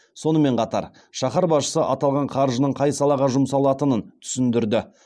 сонымен қатар шаһар басшысы аталған қаржының қай салаға жұмсалатынын түсіндірді